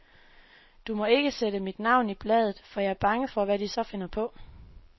Du må ikke sætte mit navn i bladet, for jeg er bange for, hvad de så finder på.